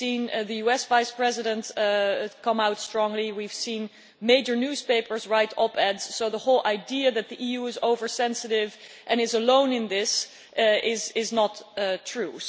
We've seen the US Vice-President come out strongly and we've seen major newspapers write op eds, so the whole idea that the EU is oversensitive and is alone in this is not true.